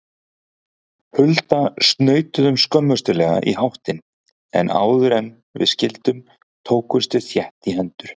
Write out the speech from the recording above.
Hulda snautuðum skömmustuleg í háttinn, en áðuren við skildum tókumst við þétt í hendur.